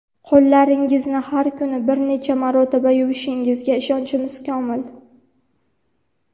Qo‘llaringizni har kuni bir necha marotaba yuvishingizga ishonchimiz komil.